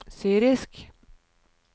syrisk